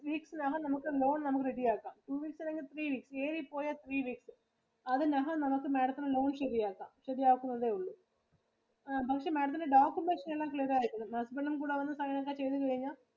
Two weeks ഇനകം നമക്ക് loan നമക്ക് ready ആക്കം. Two weeks അല്ലെങ്കിൽ three weeks ഏറി പോയ three weeks. അതിനകം നമക്ക് Madam ത്തിന് loan ശരിയാക്കാം. ശരിയാക്കുന്നതെ ഉള്ളു ആ നമുക്ക് Madam ത്തിൻറെ documents എല്ലാം clear ആയിട്ടുണ്ട്. Husband ഉം കുടി അവരുടെ sign ഒക്കെ ചെയ്തു കഴിഞ്ഞാ